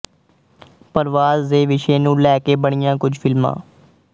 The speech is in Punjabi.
ਪਰਵਾਸ ਦੇ ਵਿਸ਼ੇ ਨੂੰ ਲੈ ਕੇ ਬਣੀਆਂ ਕੁੱਝ ਫਿਲਮਾਂ